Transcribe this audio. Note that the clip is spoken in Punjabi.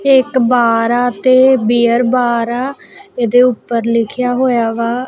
ਇਹ ਇੱਕ ਬਾਰ ਆ ਤੇ ਬੀਅਰ ਬਾਰ ਆ ਇਹਦੇ ਊਪਰ ਲਿਖ਼ਿਆ ਹੋਇਆ ਵਾਹ--